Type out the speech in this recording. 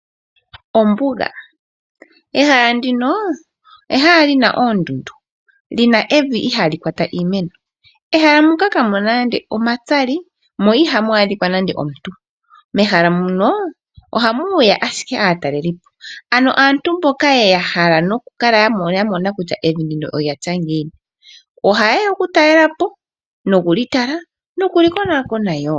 Ombuga ehala ndino ehala lina oondundu lina evi ihaali kwata iimeno. Mehala muka kamuna nande omatsali mo ihamu adhika nande omuntu. Mehala muno ohamuya ashike aatalelipo ano aantu mboka yeya ya hala noku kala ya mona kutya evi ndino olya tya ngiini ohayeya oku talelapo nokuli tala nokuli konakona woo.